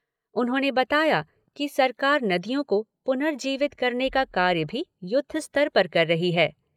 उन्होंने बताया कि सरकार नदियों को पुनर्जीवित करने का कार्य भी युद्ध स्तर पर कर रही है।